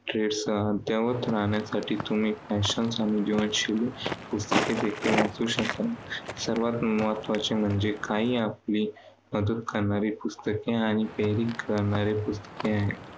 trades सह अद्ययावत राहण्यासाठी तुम्ही Fashion आणि जीवनशैली पुस्तकेदेखील वाचू शकता. सर्वांत महत्त्वाचे म्हणजे काही आपली मदत करणारी पुस्तके आणि प्रेरित करणारी पुस्तके आहेत.